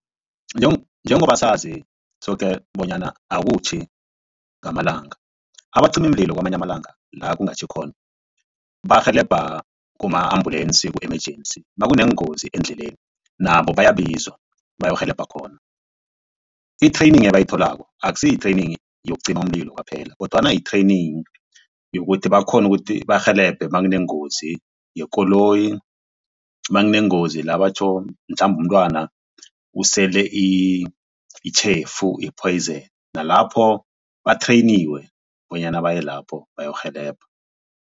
Njengoba sazi soke bonyana akutjhi ngamalanga abacimimlilo kwamanye amalanga la kungatjhikhona barhelebha kuma ambulensi ku-emergency nakuneengozi endleleni nabo bayabizwa bayorhelebha khona. I-training ebayitholako akusi yi-training yokucima umlilo kwaphela kodwana yi-training yokuthi bakghone ukuthi barhelebhe makunengozi yekoloyi, makunegozi la batjho mhlambe umntwana usele itjhefu i-poison nalapho bathreyiniwe bonyana baye lapho bayokurhelebha.